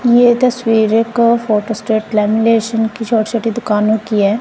ये तस्वीर का फोटो स्टेट लॅमिलेशन की छोटी छोटी दुकानों की हैं।